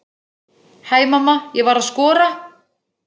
Hæ mamma, ég var að skora!